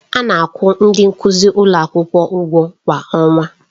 A na-akwụ ndị nkuzi ụlọ akwụkwọ ụgwọ kwa ọnwa.